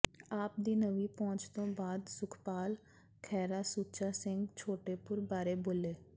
ਆਪ ਦੀ ਨਵੀਂ ਪਹੁੰਚ ਤੋਂ ਬਾਅਦ ਸੁਖਪਾਲ ਖਹਿਰਾ ਸੁੱਚਾ ਸਿੰਘ ਛੋਟੇਪੁਰ ਬਾਰੇ ਬੋਲੇ